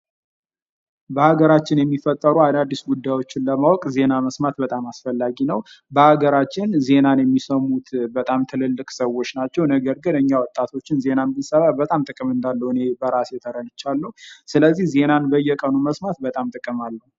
በሀገራችን የሚፈጠሩ አዳዲስ ጉዳዮች ለማወቅ ዜና መስማት በጣም አስፈላጊ ነው። በሀገራችን ዜናን የሚሰሙት በጣም ትልልቅ ሰዎች ናቸው። ነገር ግን እኛ ወጣቶች ዜናን ብንሰማ በጣም ጥቅም እንዳለው እኔ በራሴ ተረድቻለሁ። ስለዚህ ዜና በየቀኑ መስማት በጣም ጥቅም አለው።